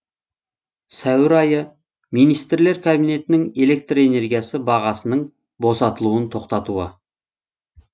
сәуір айы министрлер кабинетнің электр энергиясы бағасының босатылуын тоқтатуы